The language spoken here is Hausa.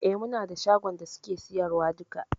E, muna da shagon da suke siyarwa duka.